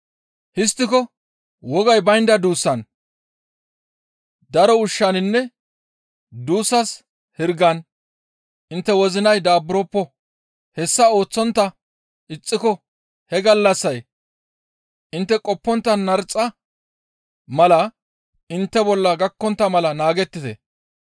«Histtiko wogay baynda duussan, daro ushshaninne duussas hirgan intte wozinay daaburoppo; hessa ooththontta ixxiko he gallassay intte qoppontta narxa mala intte bolla gakkontta mala naagettite.